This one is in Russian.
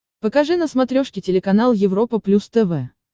покажи на смотрешке телеканал европа плюс тв